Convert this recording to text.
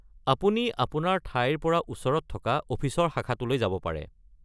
আপুনি আপোনাৰ ঠাইৰ পৰা ওচৰত থকা অফিচৰ শাখাটোলৈ যাব পাৰে।